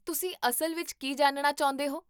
ਤੁਸੀਂ ਅਸਲ ਵਿੱਚ ਕੀ ਜਾਣਨਾ ਚਾਹੁੰਦੇ ਹੋ?